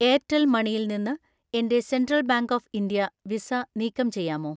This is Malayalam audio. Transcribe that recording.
എയർടെൽ മണിയിൽ നിന്ന് എൻ്റെ Central Bank of India Visa നീക്കം ചെയ്യാമോ?